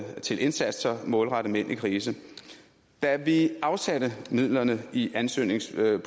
til indsatser målrettet mænd i krise da vi afsatte midlerne i ansøgningspuljen